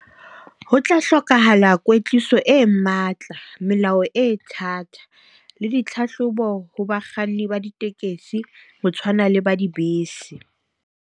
Ho tla hlokahala kwetliso e matla, melao e thata le ditlhahlobo ho bakganni ba ditekesi, ho tshwana le ba dibese.